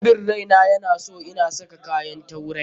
Rabin raina ya na son ina saka kayan turai.